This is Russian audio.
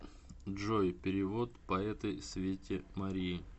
джой перевод по этой свете марии